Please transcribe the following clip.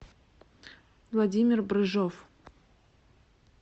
владимир брыжов